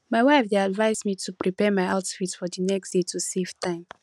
my wife dey advise me to prepare my outfit for the next day to save time